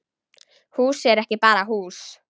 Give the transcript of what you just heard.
Hús er ekki bara hús.